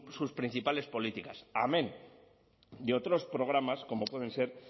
sus principales políticas amén de otros programas como pueden ser